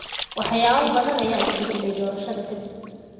Waxyaabo badan ayaa isbedelay doorashada ka dib.